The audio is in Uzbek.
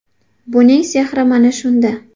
Buning sehri mana shunda.